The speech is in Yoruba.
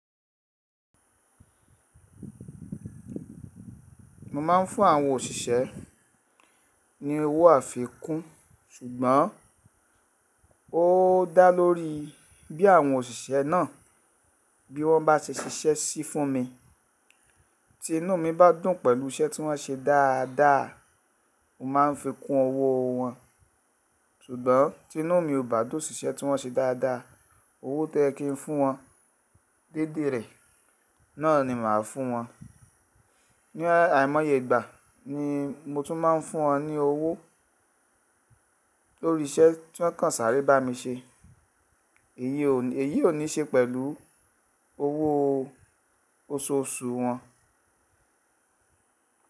Mo máa ń fún àwọn òṣìṣẹ́ ni owó àfikún ṣùgbọ́n ó dá lórí bí àwọn òṣìṣẹ́ náà, bí wọ́n bá ṣe ṣiṣẹ́ sí fún mi. Tí inú mi bá dùn pẹ̀lú iṣẹ́ tí wọ́n ṣe dáadáa, mo máa fi kún owó wọn. Ṣùgbọ́n tí inú mi kò bá dùn sí iṣẹ́ tí wọ́n ṣe dáadáa, owó tó yẹ kí n fún wọn dédé rẹ̀ náà ni màá fún wọn. Ni àìmọye ìgbà ni mo tún máa ń fún wọn ní owó lórí iṣẹ́ tí wọ́n kan sáré bá mi ṣe. Èyí ò ní ṣe pẹ̀lú owó oṣoṣù wọn.